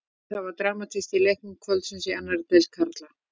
Það var dramatík í leikjum kvöldsins í annarri deild karla.